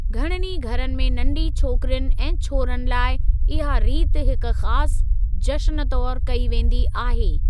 घणनि ई घरनि में नंढी छोकिरियुनि ऐं छोरनि लाइ इहा रीत हिकु ख़ासि जश्‍न तौरु कई वेंदी आहे।